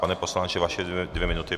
Pane poslanče, vaše dvě minuty.